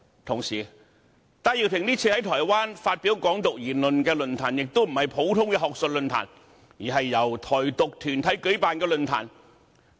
同時，戴耀廷這次在台灣發表"港獨"言論的論壇，並非一般學術論壇，而是由台獨團體舉辦的論壇。